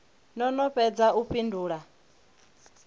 no no fhedza u fhindula